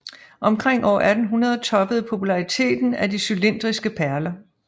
Omkring år 1800 toppede populariteten af de cylindriske perler